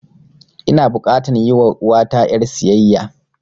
Ina bukatan yi wa uwata ƴar siyayya